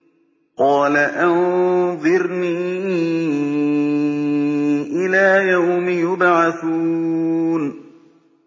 قَالَ أَنظِرْنِي إِلَىٰ يَوْمِ يُبْعَثُونَ